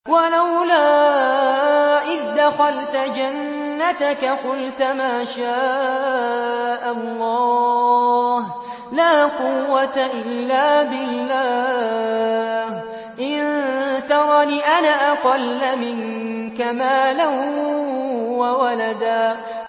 وَلَوْلَا إِذْ دَخَلْتَ جَنَّتَكَ قُلْتَ مَا شَاءَ اللَّهُ لَا قُوَّةَ إِلَّا بِاللَّهِ ۚ إِن تَرَنِ أَنَا أَقَلَّ مِنكَ مَالًا وَوَلَدًا